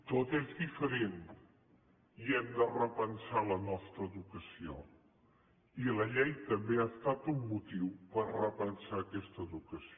tot és diferent i hem de repensar la nostra educació i la llei també ha estat un motiu per repensar aquesta educació